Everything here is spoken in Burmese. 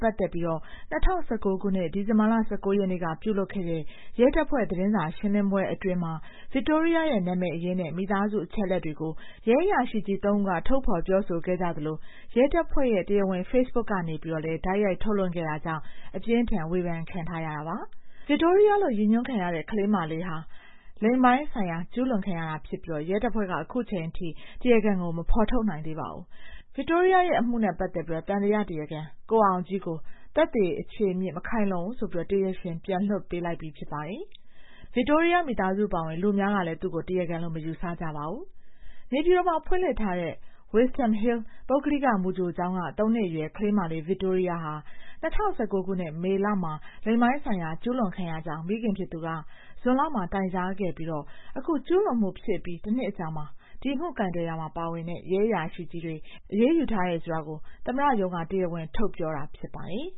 ပတ်သက်ပြီး ၂၀၁၉ ခုနှစ် ဒီဇင်ဘာလ ၁၉ ရက်နေ့က ပြုလုပ်ခဲ့တဲ့ ရဲတပ်ဖွဲ့ သတင်းစာရှင်းလင်းပွဲအတွင်း ဗစ်တိုးရီးယားရဲ့ နာမည်အရင်းနဲ့ မိသားစု အချက်အလက်တွေကို ရဲအရာရှိကြီးသုံးဦးက ထုတ်ဖော် ပြောဆိုခဲ့ကြသလို ရဲတပ်ဖွဲ့ရဲ့ တရားဝင် ဖေ့စ်ဘွတ်ခ်ကနေလည်း တိုက်ရိုက်ထုတ်လွှင့်ခဲ့တာကြောင့် အပြင်းအထန် ဝေဖန်ခံထားရတာပါ။ ဗစ်တိုးရီးယားလို့ ရည်ညွှန်းခံရတဲ့ ကလေးမလေးဟာ လိင်ပိုင်း ကျူးလွန်ခံခဲ့ရတာဖြစ်ပြီး ရဲတပ်ဖွဲ့က အခုချိန်အထိ တရားခံကို မဖော်ထုတ်နိုင်သေးပါဘူး။ ဗစ်တိုးရီးယားရဲ့ အမှုနဲ့ ပတ်သက်ပြီး သံသယတရားခံ ကိုအောင်ကြီးကို သက်သေ အခြေအမြစ် မခိုင်လုံဘူးဆိုပြီး တရားရှင် ပြန်လွှတ်လိုက်ပြီး ဖြစ်ပါတယ်။ ဗစ်တိုးရီးယားမိသားစု အပါအဝင် လူအများကလည်း သူ့ကို တရားခံလို့ မယူဆကြပါဘူး။ နေပြည်တော်မှာ ဖွင့်လှစ်ထားတဲ့ Wisdom Hill ပုဂ္ဂလိက မူကြိုကျောင်းက သုံးနှစ်အရွယ် ကလေးမလေး ဗစ်တိုးရီးယားဟာ ၂၀၁၉ မေလမှာ လိင်ပိုင်းဆိုင်ရာ ကျူးလွန်ခံရကြောင်း မိခင်ဖြစ်သူက ဇွန်လမှာ တိုင်ကြားခဲ့ပြီး အခု ကျူးလွန်မှုဖြစ်အပြီး တနှစ်အကြာမှာ ဒီအမှုကိုင်တွယ်ရာမှာ ပါဝင်တဲ့ ရဲအရာရှိကြီးတွေကို အရေးယူထားတယ်ဆိုတာ သမ္မတရုံးက တရားဝင်ထုတ်ပြောတာ ဖြစ်ပါတယ်